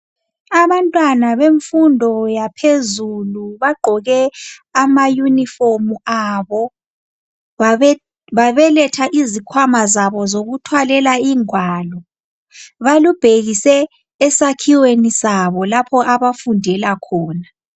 Abantwana bemfundo yaphezulu bagqoke amayunifomu abo babeletha izikhwama zabo zokuthwalela ingwalo. Balubhekise esakhiweni sabo lapho abafundela khona.